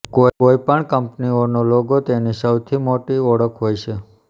કોઈ પણ કંપનીઓનો લોગો તેની સૌથી મોટી ઓળખ હોય છે